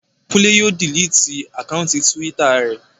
Kúnlé yóò diliti àkáùntì túwítà rẹ̀